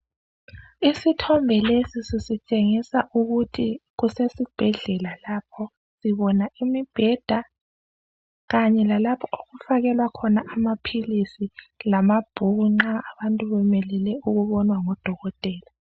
Isithombe lesi sisitshengisa ukuthi kusesibhedlela lapho. Sibona imibheda. Kanye lalapho okufakelwa khona amaphilisi, lamabhuku nxa abantu bemelele ukubonwa ngodokotela.